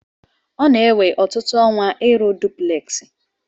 Ọ na-ewe ọtụtụ ọnwa ịrụ dupleksị.